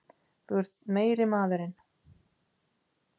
Þú ert meiri maðurinn!